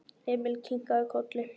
Emil kinkaði kolli.